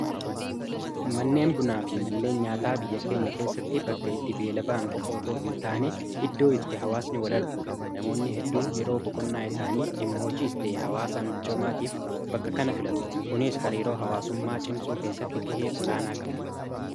manneen bunaa fi manneen nyaataa biyya keenya keessatti bakka itti beelaba'an qofootoo hin taane iddoo itti hawaasni wal arguudha namoonni hedduun yeroo boqoonnaa isaanii dhimmaa hojiis tahee hawaasaa michoomaatiif bakka kana filaatu kuniis hariiroo hawaasummaa cimsuu keessatti ga'ee ol aanaa qabu